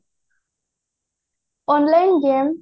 online game